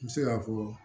N bɛ se k'a fɔ